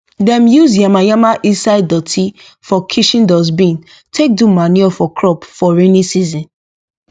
dem use yamayama inside dotty for kitchen dustbin take do manure for crop for rainy season